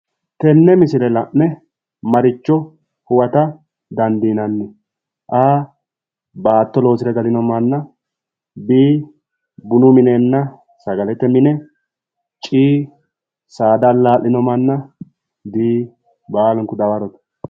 Tenne misile la'ne maricho huwata dandiinanni? a) baatto loosire galinno manna b) bunu minenna sagalete mine c) saada allaa'lino manna d) baalunku dawarote